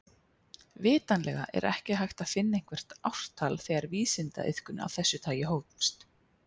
Vitanlega er ekki hægt að finna eitthvert ártal þegar vísindaiðkun af þessu tagi hófst.